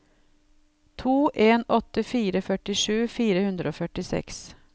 to en åtte fire førtisju fire hundre og førtiseks